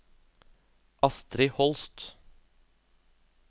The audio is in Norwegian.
Astrid Holst